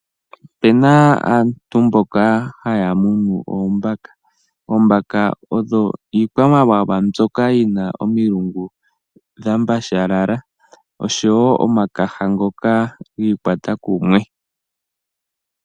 Opena aantu mboka haya munu oombaka. Oombaka odho iikwamawawa mboka yi na omilungu dha mbashalala osho wo omakala ngoka giikwata kumwe.